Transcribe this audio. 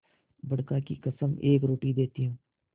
बड़का की कसम एक रोटी देती हूँ